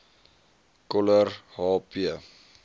coller h p